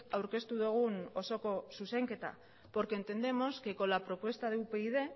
aurkeztu dugun osoko zuzenketa porque entendemos que con la propuesta de upyd